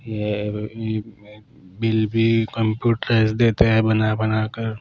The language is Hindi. ये बिल भी कंप्यूटरा से देते हैं बना बना बनाकर।